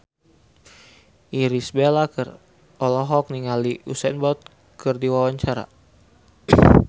Irish Bella olohok ningali Usain Bolt keur diwawancara